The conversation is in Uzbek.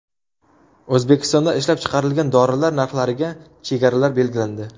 O‘zbekistonda ishlab chiqarilgan dorilar narxlariga chegaralar belgilandi.